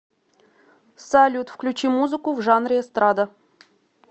салют включи музыку в жанре эстрада